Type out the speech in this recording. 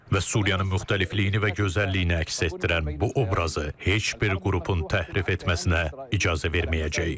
Və Suriyanın müxtəlifliyini və gözəlliyini əks etdirən bu obrazı heç bir qrupun təhrif etməsinə icazə verməyəcəyik.